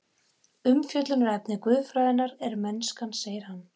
Umfjöllunarefni guðfræðinnar er mennskan, segir hann.